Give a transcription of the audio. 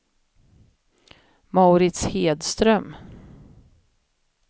Mauritz Hedström